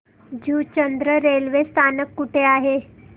Juchandra railway स्थानक कुठे आहे